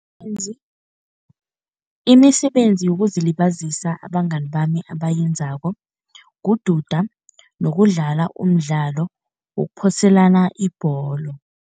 Imisebenzi yokuzilibazisa abangani bami abayenzako, kududa nokudlala umdlalo wokuphoselana ibholo.